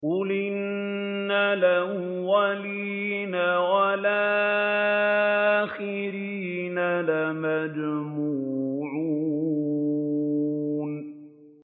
قُلْ إِنَّ الْأَوَّلِينَ وَالْآخِرِينَ